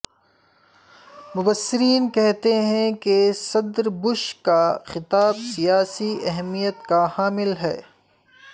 مبصرین کہتے ہیں کہ صدر بش کا خطاب سیاسی اہمیت کا حامل ہے